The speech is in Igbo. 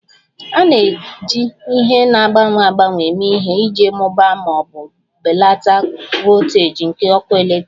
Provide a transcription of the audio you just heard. A na-eji ihe na-agbanwe agbanwe eme ihe iji mụbaa ma ọ bụ belata voltaji nke ọkụ eletrik